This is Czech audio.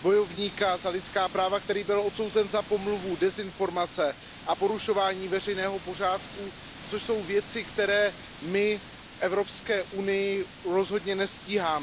bojovníka za lidská práva, který byl odsouzen za pomluvu, dezinformace a porušování veřejného pořádku, což jsou věci, které my v Evropské unii rozhodně nestíháme.